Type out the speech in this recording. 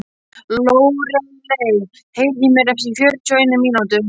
Lóreley, heyrðu í mér eftir fjörutíu og eina mínútur.